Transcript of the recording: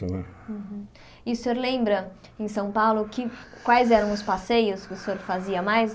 Né E o senhor lembra, em São Paulo, que quais eram os passeios que o senhor fazia mais?